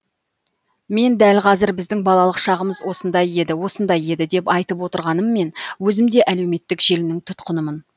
мен дәл қазір біздің балалық шағымыз осындай еді осындай еді деп айтып отырғаныммен өзім де әлеуметтік желінің тұтқынымын